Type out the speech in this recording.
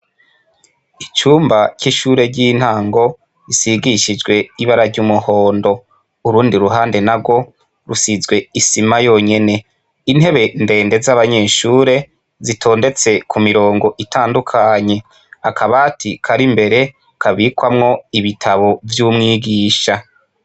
Icumba c'ishure ry'intango risigishijwe ibara ry'umuhondo urundi ruhande narwo rusizwe isima yonyene intebe ndende z'abanyeshure zitonze ku mirongo itandukanye akabati kari imbere kabikwamwo ibitabo vy'umwigisha.